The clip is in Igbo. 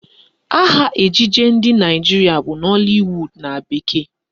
Aha ejije ndị Naịjirịa bụ Nollywood na bekee